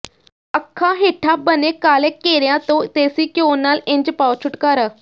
ਅੱਖਾਂ ਹੇਠਾਂ ਬਣੇ ਕਾਲੇ ਘੇਰਿਆਂ ਤੋਂ ਦੇਸੀ ਘਿਓ ਨਾਲ ਇੰਝ ਪਾਓ ਛੁਟਕਾਰਾ